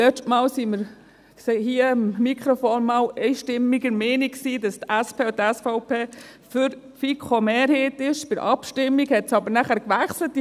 Denn das letzte Mal als wir hier vorne am Mikrofon einmal einstimmig der Meinung waren, dass die SP und die SVP für die FiKo-Mehrheit sind, änderte es dann bei der Abstimmung.